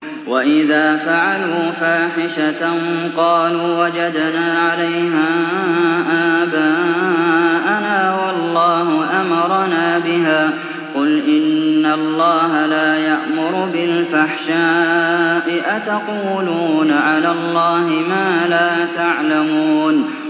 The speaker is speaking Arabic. وَإِذَا فَعَلُوا فَاحِشَةً قَالُوا وَجَدْنَا عَلَيْهَا آبَاءَنَا وَاللَّهُ أَمَرَنَا بِهَا ۗ قُلْ إِنَّ اللَّهَ لَا يَأْمُرُ بِالْفَحْشَاءِ ۖ أَتَقُولُونَ عَلَى اللَّهِ مَا لَا تَعْلَمُونَ